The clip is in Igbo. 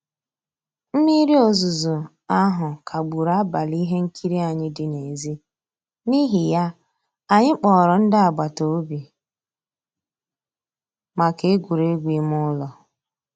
Mmírí òzùzó ahụ́ kagbùrù àbálị́ ihe nkírí ànyị́ dị́ n'èzí, n'ihí ya, ànyị́ kpọ̀rọ́ ndí àgbàtà òbì maka ègwùrègwù ímé ụ́lọ́.